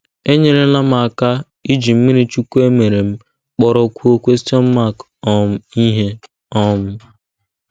enyerela m aka iji mmirichukwu e mere m kpọrọkwuo um ihe. um